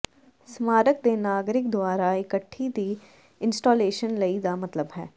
ਸਮਾਰਕ ਦੇ ਨਾਗਰਿਕ ਦੁਆਰਾ ਇਕੱਠੀ ਦੀ ਇੰਸਟਾਲੇਸ਼ਨ ਲਈ ਦਾ ਮਤਲਬ ਹੈ